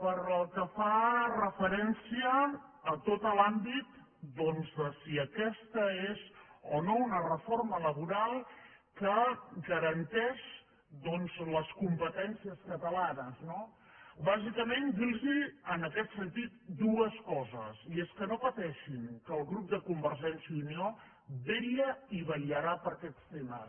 pel que fa referència a tot l’àmbit de si aquesta és o no una reforma laboral que garanteix les competències catalanes no bàsicament dir los en aquest sentit dues coses i és que no pateixin que el grup de convergència i unió vetlla i vetllarà per aquests temes